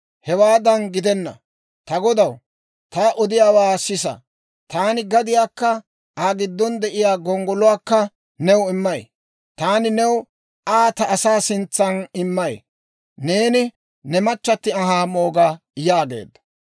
«Hewaadan gidenna; ta godaw, ta odiyaawaa sisa; taani gadiyaakka Aa giddon de'iyaa gonggoluwaakka new immay; taani new Aa ta asaa sintsan immay; neeni ne machchatti anhaa mooga» yaageedda.